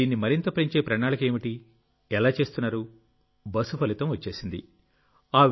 మరి దీన్ని మరింత పెంచే ప్రణాళిక ఏమిటి ఎలా చేస్తున్నారు బస్సు ఫలితం వచ్చేసింది